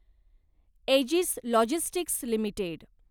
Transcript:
edges Logistics limited